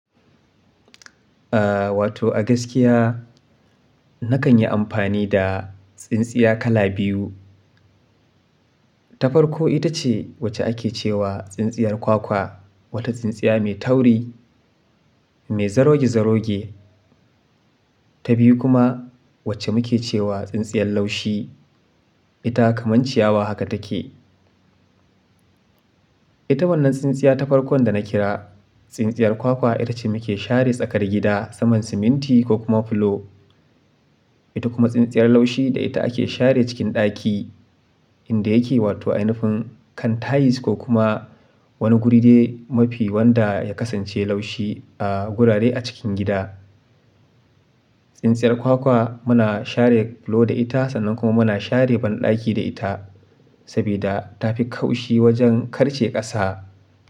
Aaa, wato a gaskiya nakan yi amfani da tsintsiya kala biyu. Ta farko ita ce wacce ake ce wa tsintsiyar kwakwa, wata tsintsiya mai tauri, mai zaroge-zaroge. Ta biyu kuma wacce muke ce wa tsintsiyar laushi, ita kamar ciyawa haka take. Ita wannan tsintsiya ta farkon da na kira, tsintsiyar kwakwa ita ce muke share tsakar gida saman siminti ko kuma fulo. Ita kuma tsintsiyar laushi da ita ake share cikin ɗaki, inda yake wato ainufin kan tayis ko kuma wani guri dai mafi wanda ya kasance laushi a gurare a cikin gida. Tsintsiyar kwakwa muna share fulo da ita sannan kuma muna share banɗaki da ita, saboda ta fi kaushi wajen karce ƙasa.